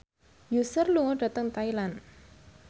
Usher lunga dhateng Thailand